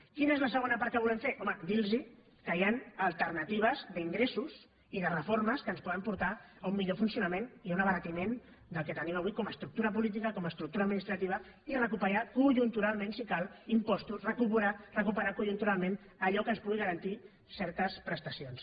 quina és la segona part que volem fer home dir los que hi han alternatives d’ingressos i de reformes que ens poden portar a un millor funcionament i un abaratiment del que tenim avui com a estructura política com a estructura administrativa i recuperar conjunturalment si cal impostos recuperar conjunturalment allò que ens pugui garantir certes prestacions